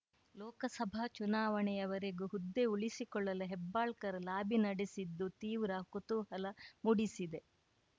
ಲೋಕಸಭಾ ಚುನಾವಣೆಯ ವರೆಗೂ ಹುದ್ದೆ ಉಳಿಸಿಕೊಳ್ಳಲು ಹೆಬ್ಬಾಳ್ಕರ್‌ ಲಾಬಿ ನಡೆಸಿದ್ದು ತೀವ್ರ ಕುತೂಹಲ ಮೂಡಿಸಿದೆ